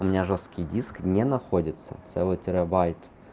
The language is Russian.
у меня жёсткий диск не находится целый терабайт